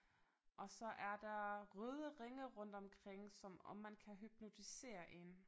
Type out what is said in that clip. Og så er der røde ringe rundt omkring som om man kan hypnotisere én